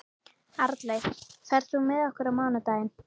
Arnleif, ferð þú með okkur á mánudaginn?